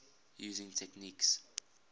using techniques